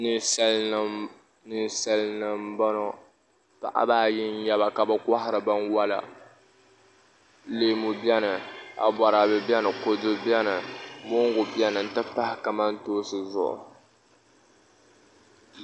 Ninsal nim n boŋo paɣaba ayi n nyɛba ka bi kohari binwola leemu biɛni aboraabɛ biɛni kodu biɛni mongu biɛni n ti pahi kamantoosi zuɣu